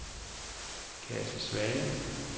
Kate Svane